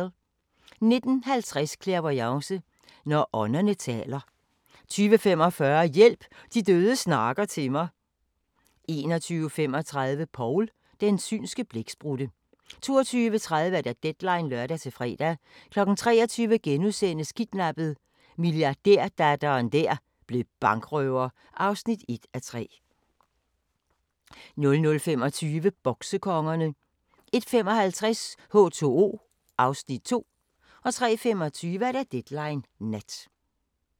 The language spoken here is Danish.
19:50: Clairvoyance – når ånderne taler 20:45: Hjælp – de døde snakker til mig 21:35: Paul – den synske blæksprutte 22:30: Deadline (lør-fre) 23:00: Kidnappet: Milliardærdatteren der blev bankrøver (1:3)* 00:25: Boksekongerne 01:55: H2O (Afs. 2) 03:25: Deadline Nat